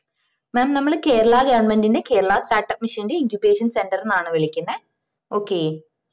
mam നമ്മള് Kerala government ൻറെ Kerala start up mission ന്റെ incupation center ന്നാണ് വിളിക്ക്ന്നേ okay